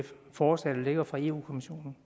forslag der ligger fra europa kommissionen